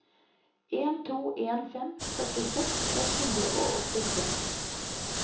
en to en fem førtiseks ett hundre og åttitre